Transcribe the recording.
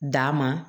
D'a ma